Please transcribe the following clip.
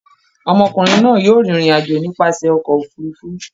Ọmọkùnrin náà yóò rìnrìn-àjò nípasẹ̀ ọkọ̀-òfurufú.